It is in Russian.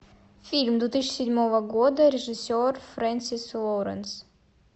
фильм две тысячи седьмого года режиссер френсис лоуренс